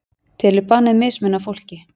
Telur bannið mismuna fólki